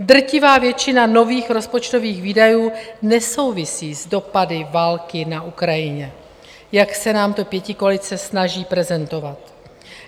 Drtivá většina nových rozpočtových výdajů nesouvisí s dopady války na Ukrajině, jak se nám to pětikoalice snaží prezentovat.